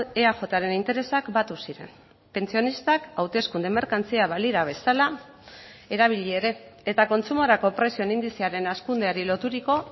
eajren interesak batu ziren pentsionistak hauteskunde merkantzia balira bezala erabili ere eta kontsumorako prezioen indizearen hazkundeari loturiko